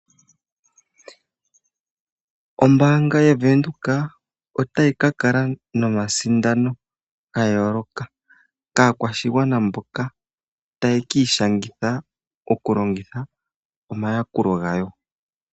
Ombaanga yaVenduka otayi ka kala nomasindano gayooloka kaakwashigwana mboka ta ye kiishangitha oku longitha omayakulo gawo.